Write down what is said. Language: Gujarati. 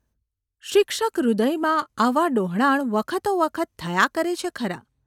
શિક્ષકહૃદયમાં આવા ડહોળાણ વખતોવખત થયા કરે છે ખરાં.